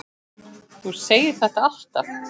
Þú segir þetta alltaf!